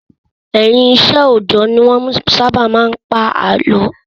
Ẹ̀yìn iṣẹ́ òòjọ́ ni wọ́n sábà máa ń pàlọ́.